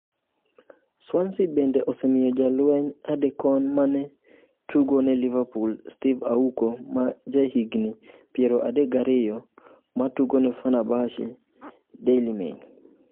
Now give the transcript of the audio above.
Swansea bende osemiyo jalweny adekon ma ne tugo ne Liverpool Steve Auko ma jahigni 32, ma tugo ne Fernabahce (Daily Mail).